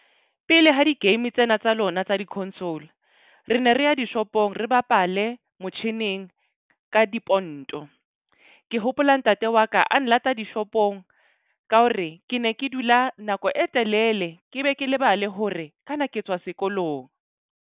Pele ha di-game tsena tsa lona tsa di-console, re ne re ya di-shop-ong, re bapale motjhining ka diponto. Ke hopola, ntate wa ka a nlata di-shop-ong ka hore ke ne ke dula nako e telele, ke be ke lebale hore kana ke tswa sekolong.